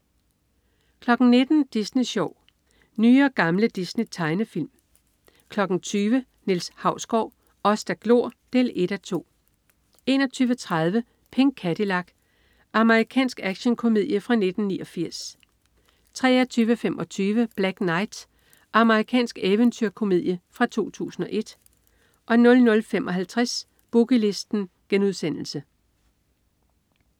19.00 Disney Sjov. Nye og gamle Disney-tegnefilm 20.00 Niels Hausgaard: Os der glor 1:2 21.30 Pink Cadillac. Amerikansk actionkomedie fra 1989 23.25 Black Knight. Amerikansk eventyrkomedie fra 2001 00.55 Boogie Listen*